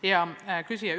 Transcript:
Hea küsija!